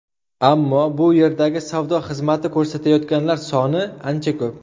Ammo bu yerdagi savdo xizmati ko‘rsatayotganlar soni ancha ko‘p.